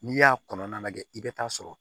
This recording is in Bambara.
N'i y'a kɔnɔna lajɛ i bɛ taa sɔrɔ